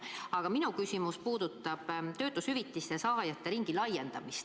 Aga minu küsimus puudutab töötushüvitise saajate ringi laiendamist.